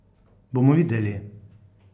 Bomo videli!